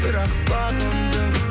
бірақ бағындың